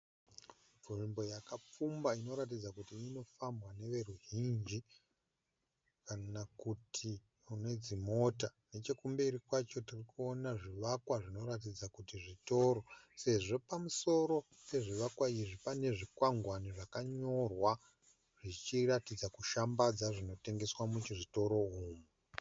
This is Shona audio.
Nzvimbo yakapfumba inoratidza kuti anofambwa neveruzhinji kana kuti nedzimota. Nechokumberi kwacho tirikunoona zvivakwa zvinoratidza kuti zvitoro sezvo pamusoro pezvivakwa izvi pane zvikwangwani zvakanyorwa zvichiratidza kushambadza zvinotengeswa muzvitoro umu.